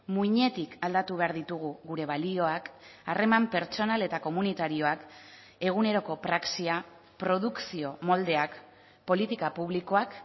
muinetik aldatu behar ditugu gure balioak harreman pertsonal eta komunitarioak eguneroko praxia produkzio moldeak politika publikoak